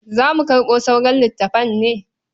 Za mu karɓo sauran littafan ne?